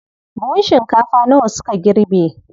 Buhun shinkafa nawa suka girbe?